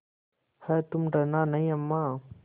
हैतुम डरना नहीं अम्मा